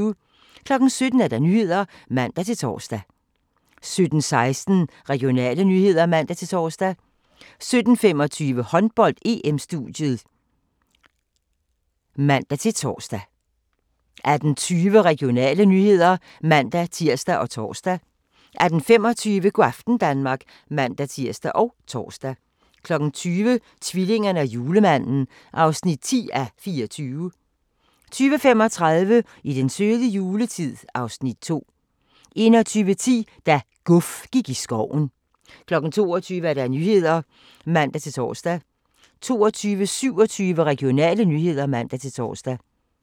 17:00: Nyhederne (man-tor) 17:16: Regionale nyheder (man-tor) 17:25: Håndbold: EM-studiet (man-tor) 18:20: Regionale nyheder (man-tir og tor) 18:25: Go' aften Danmark (man-tir og tor) 20:00: Tvillingerne og julemanden (10:24) 20:35: I den søde juletid (Afs. 2) 21:10: Da "Guf" gik i skoven 22:00: Nyhederne (man-tor) 22:27: Regionale nyheder (man-tor)